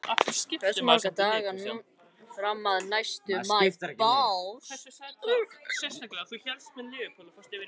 Eldur, hversu margir dagar fram að næsta fríi?